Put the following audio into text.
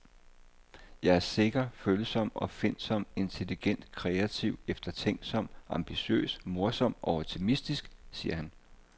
Jeg er sikker, følsom, opfindsom, intelligent, kreativ, eftertænksom, ambitiøs, morsom og optimistisk, siger han.